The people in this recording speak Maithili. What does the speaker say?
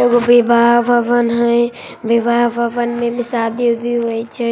एगो विवाह भवन हई विवाह भवन में शादी उदी हुए छे